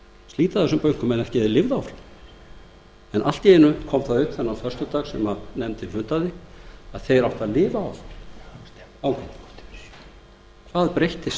slíta þessum bönkum en ekki að þeir lifðu áfram en allt í einu kom það upp þennan föstudag sem nefndin fundaði að þeir áttu að lifa áfram hvað breyttist